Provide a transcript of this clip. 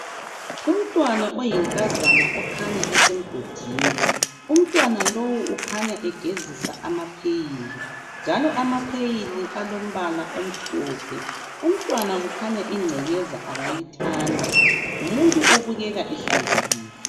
Umntwana oyinkazana okhanya esemgodini. Umntwana lowu ukhanya egezisa amapheyili. Njalo amapheyili alombala omhlophe. Umntwana kukhanya ingcekeza akayithandi. Ngumuntu obukeka ehlanzekileyo.